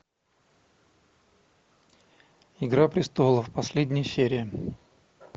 игра престолов последняя серия